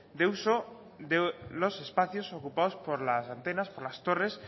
de uso de los espacios ocupados por las antenas por las torres